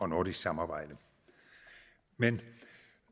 nordisk samarbejde men